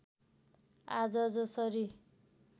आज जसरी